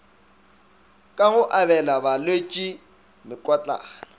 ka go abela balwetši mekotlana